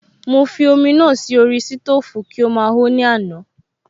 Mo fi omi náà sí orí sítòfù kí ó máa ho ní àná